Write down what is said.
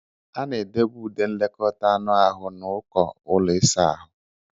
A na-edobe ude nlekọta anụ ahụ na uko ụlọ ịsa ahụ.